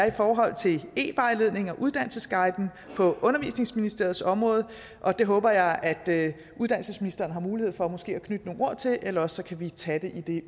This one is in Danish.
i forhold til evejledning og uddannelsesguiden på undervisningsministeriets område og det håber jeg at uddannelsesministeren har mulighed for måske at knytte nogle ord til eller også kan vi tage det